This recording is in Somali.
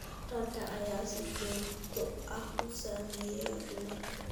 Ragga ayaa si joogto ah u saameeya dumarka.